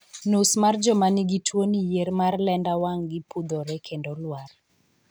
Nus mar joma ni gi tuo ni yier mar lenda wang gi pudhore kendo lwar